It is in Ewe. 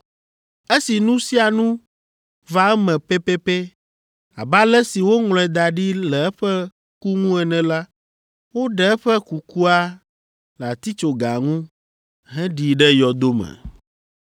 Esi nu sia nu va eme pɛpɛpɛ abe ale si woŋlɔe da ɖi le eƒe ku ŋu ene la, woɖe eƒe kukua le atitsoga ŋu heɖii ɖe yɔdo me.